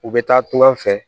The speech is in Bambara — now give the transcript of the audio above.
U bɛ taa to an fɛ